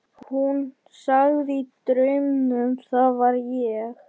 Hún sagði í draumnum: Það var ég.